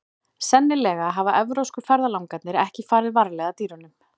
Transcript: Sennilega hafa evrópsku ferðalangarnir ekki farið varlega að dýrunum.